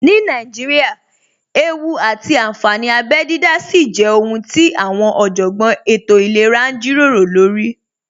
Ní Nàíjíríà, ewú àti ànfàní abẹ dídá sì jẹ́ ohun tí àwọn Ọ̀jọ̀gbọ́n elétò ìlera ń jíròrò lórí